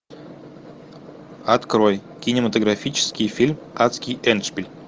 открой кинематографический фильм адский эндшпиль